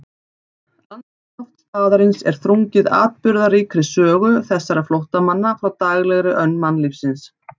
Andrúmsloft staðarins er þrungið atburðaríkri sögu þessara flóttamanna frá daglegri önn mannlífsins.